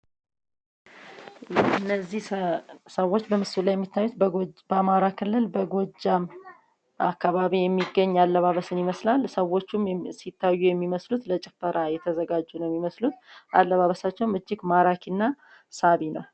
እነዚህ ሰዎች በምስሉ ላይ የሚታዩት በአማራ ክልል በጎጃም አካባቢ የሚገኝ አለባበስን ይመስላል። ሰዎቹም ሲታዩ የሚመስሉት ለጭፈራ የተዘጋጁ ነው የሚመስሉት። አለባበሳቸውም እጅግ ማራኪ እና ሳቢ ነው።